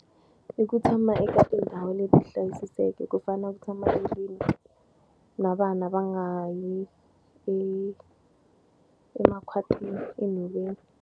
I ku tshama eka tindhawu leti hlayisekeke ku fanele ku tshama endlwini na vana va nga yi emakhwatini, enhoveni.